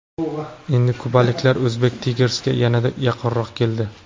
Endi kubaliklar Uzbek Tigers’ga yanada yaqinroq keldi.